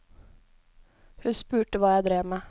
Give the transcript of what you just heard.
Hun spurte hva jeg drev med.